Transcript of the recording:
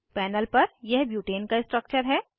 panel पर यह butane का स्ट्रक्चर है